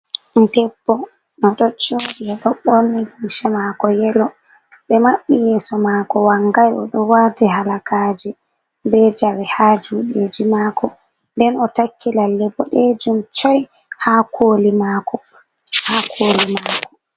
Ɓiɗɗo debbo, o ɗo jooɗi, o ɗo ɓorni lumse maako yelo, ɓe maɓɓi yeeso maako wangay, o ɗo waati halagaaje be jawe haa juuɗeeji maako, nden o takki lalle boɗeejum coy, haa kooli maako, haa kooli maako.